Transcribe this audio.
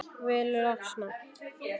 Vil losna.